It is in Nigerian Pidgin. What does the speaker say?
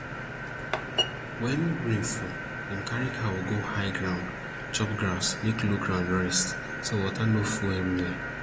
wen rain fall dem carry cow go high ground chop grass make low ground rest so water no full everywhere